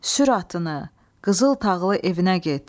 Sür atını, qızıl tağlı evinə get.